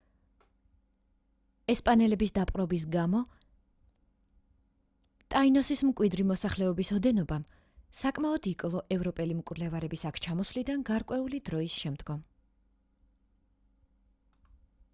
ესპანელების დაპყრობის გამო ტაინოსის მკვიდრი მოსახლეობის ოდენობამ საკმაოდ იკლო ევროპელი მკვლევარების აქ ჩამოსვლიდან გარკვეული დროის შემდგომ